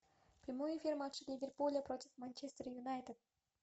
прямой эфир матча ливерпуля против манчестер юнайтед